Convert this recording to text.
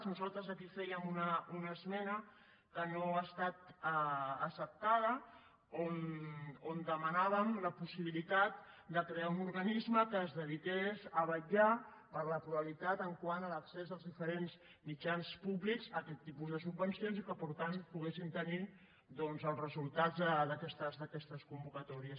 nosaltres aquí fèiem una esmena que no ha estat acceptada on demanàvem la possibilitat de crear un organisme que es dediqués a vetllar per la pluralitat quant a l’accés als diferents mitjans públics aquest tipus de subvencions i que per tant poguessin tenir doncs els resultats d’aquestes convocatòries